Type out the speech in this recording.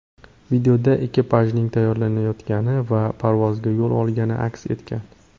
Videoda ekipajning tayyorlanayotgani va parvozga yo‘l olgani aks etgan.